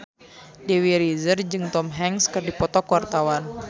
Dewi Rezer jeung Tom Hanks keur dipoto ku wartawan